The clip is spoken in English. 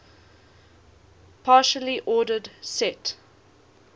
partially ordered set